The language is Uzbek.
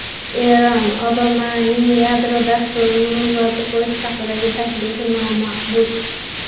Eron: Obamaning yadro dasturini muzlatib qo‘yish haqidagi taklifi nomaqbul.